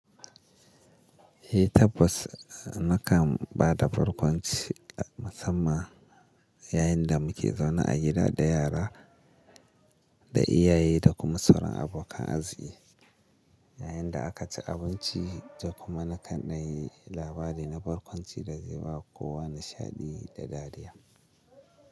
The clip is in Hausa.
Eh tabbas nakan bada barkwanci musamman yayin da muke zaune a gida da yara da iyaye da kuma sauran abokan arziki. Yayin da aka ci abinci da kuma na kan ɗan yi labari na barkwanci da zai ba kowa nishaɗi da dariya.